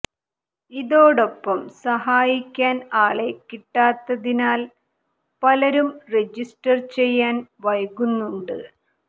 ഇതോടൊപ്പം സഹായിക്കാൻ ആളെ കിട്ടാത്തതിനാൽ പലരും രജിസ്റ്റർ ചെയ്യാൻ വൈകുന്നുണ്ട്